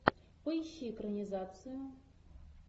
поищи экранизацию